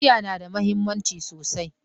.Kaciya na da muhimmanci sosai